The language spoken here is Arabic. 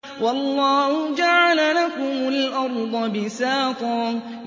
وَاللَّهُ جَعَلَ لَكُمُ الْأَرْضَ بِسَاطًا